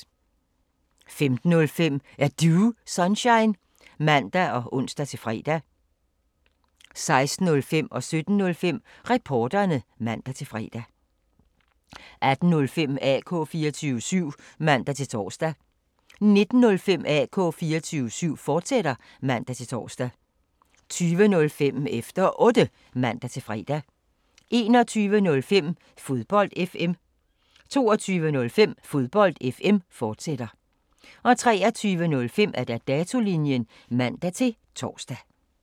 15:05: Er Du Sunshine? (man og ons-fre) 16:05: Reporterne (man-fre) 17:05: Reporterne (man-fre) 18:05: AK 24syv (man-tor) 19:05: AK 24syv, fortsat (man-tor) 20:05: Efter Otte (man-fre) 21:05: Fodbold FM 22:05: Fodbold FM, fortsat 23:05: Datolinjen (man-tor)